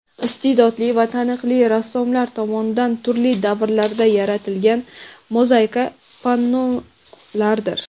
iste’dodli va taniqli rassomlar tomonidan turli davrlarda yaratilgan mozaika pannolardir.